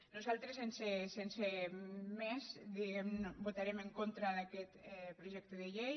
nosaltres sense més diguem ne votarem en contra d’aquest projecte de llei